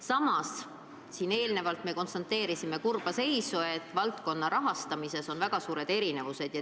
Samas, me siin enne konstateerisime kurba seisu, et valdkonna rahastuses on väga suured erinevused.